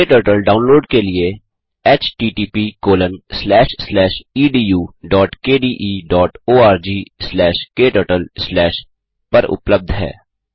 क्टर्टल download के लिए httpedukdeorgkturtle पर उपलब्ध है